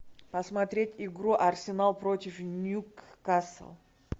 посмотреть игру арсенал против ньюкасл